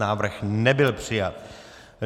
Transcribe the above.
Návrh nebyl přijat.